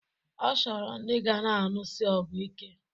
Ọ chọrọ ndi ga na-anụsi ọgụ ike.